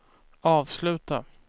avsluta